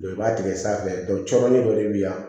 i b'a tigɛ sanfɛ cɔrɔnin dɔ de be yan